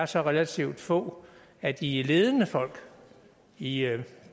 så relativt få af de ledende folk i